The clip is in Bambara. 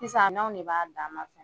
Sisan a n'anw ne b'a dan ma.